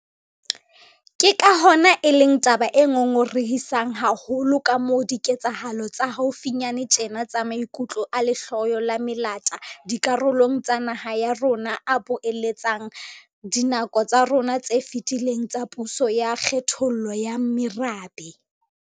Ke ka hona e leng taba e ngongorehisang haholo kamoo diketsahalo tsa haufinyane tjena tsa maikutlo a lehloyo la melata dikarolong tsa naha ya rona a boeletsang dinako tsa rona tse fetileng tsa puso ya kgethollo ya merabe.